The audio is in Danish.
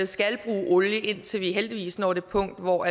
skal bruge olie indtil vi heldigvis når det punkt hvor